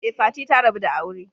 Ee, Fati ta rabu da aure.